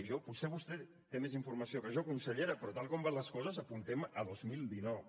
i jo potser vostè té més informació que jo consellera però tal com van les coses apuntem a dos mil dinou